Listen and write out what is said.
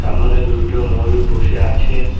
সামনে দুইটো ময়ূর বসে আছে।